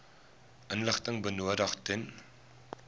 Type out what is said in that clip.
inligting benodig ten